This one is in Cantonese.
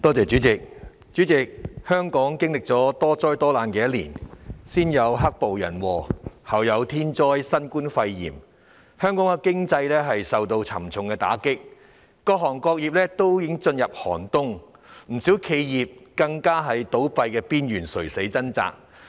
主席，香港經歷了多災多難的一年，先有"黑暴"人禍，後有天災新冠肺炎，香港經濟受到沉重打擊，各行各業都已進入寒冬，不少企業更面臨倒閉邊緣，正在垂死掙扎。